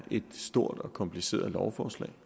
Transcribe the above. et stort og kompliceret lovforslag